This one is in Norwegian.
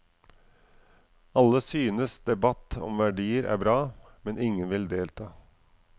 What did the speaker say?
Alle synes debatt om verdier er bra, men ingen vil delta.